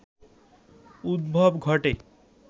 উদ্ভব ঘটে